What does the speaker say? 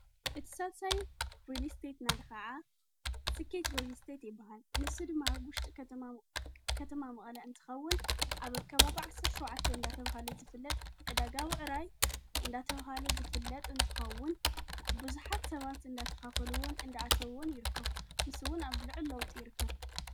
እትሳሳይ ሬሊ ስተት ናዲ ኸዓ ስቄት ዝተት ይበሃል ንስድማ ይርከብከተማ መቕለ እንትኸውን ኣብ ኣካባ ብ ዓሠር ሸዉዓት እንዳ ተብሃለ ዝፍለጥ ዕደጋብዕራይ እንዳተብሃለ ዝፍለጥ እንትኸውን ብዙኃት ሰባት እንዳተኻፈልውን እንዳኣተብውን ይርከፍ ምስውን ኣብ ልዕ ለውጡ ይርከብ።